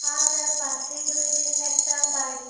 আর তার পাশেই রয়েছে একটা বাড়ি।